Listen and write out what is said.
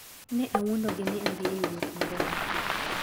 Ne awuondogi ni adhi e wuoth moro mar tich.